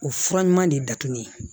O fura ɲuman de datugu ye